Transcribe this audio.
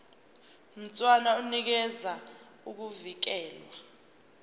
mshwana unikeza ukuvikelwa